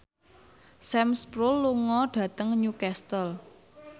Sam Spruell lunga dhateng Newcastle